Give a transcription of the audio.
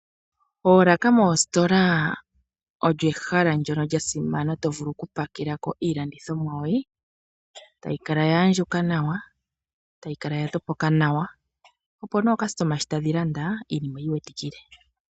Oolaka dhoomisitola olyo ehala ndyono lyasimana , tovulu okupakelako iilandithomwa yoye, yayi kala yaandjuka nawa, tayi kala yatopoka nawa opo aalandithwa ngele taya landa, yo niinima oyi iwetikile.